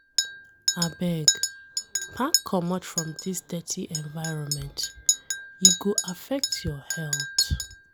Abeg, pack comot from dis dirty environment, e go affect your health.